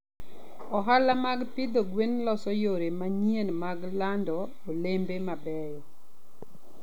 Ohala mag pidho gwen loso yore manyien mag lando olembe mabeyo.